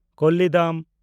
ᱠᱳᱞᱤᱰᱟᱢ